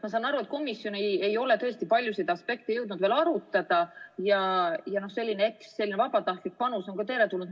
Ma saan aru, et komisjon ei ole tõesti paljusid aspekte jõudnud veel arutada ja selline vabatahtlik panus on ka teretulnud.